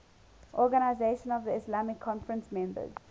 organisation of the islamic conference members